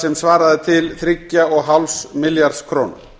sem svaraði til þrjátíu og fimm milljarða króna